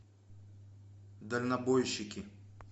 дальнобойщики